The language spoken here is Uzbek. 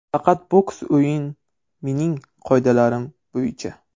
Faqat boks o‘yin mening qoidalarim bo‘yicha.